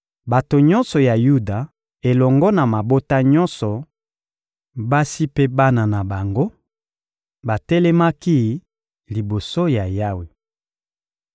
Bato nyonso ya Yuda elongo na mabota nyonso, basi mpe bana na bango, batelemaki liboso ya Yawe.